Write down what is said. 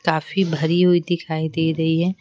काफी भरी हुई दिखाई दे रही हैं।